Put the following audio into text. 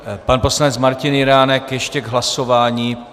Pan poslanec Martin Jiránek ještě k hlasování.